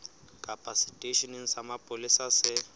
kapa seteisheneng sa mapolesa se